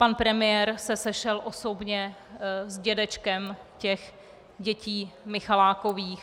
Pan premiér se sešel osobně s dědečkem těch dětí Michalákových.